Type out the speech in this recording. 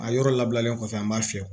A yɔrɔ labilalen kɔfɛ an b'a fiyɛ